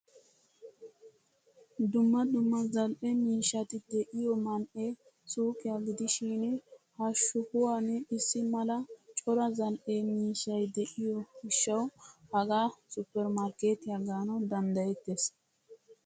Dumma dumma zal'ee miishshati deiyo man'ee suuqiyaa gidishin ha shuwaan issi mala cora zal''e miishshay de'iyo gishshawu hagaa supper markketiyaa gaanawu danddayettees.